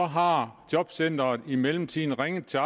har jobcenteret i mellemtiden ringet til